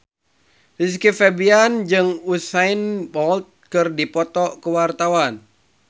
Rizky Febian jeung Usain Bolt keur dipoto ku wartawan